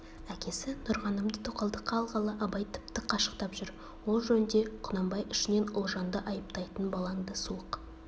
әкесі нұрғанымды тоқалдыққа алғалы абай тіпті қашықтап жүр ол жөнде құнанбай ішінен ұлжанды айыптайтын балаңды суық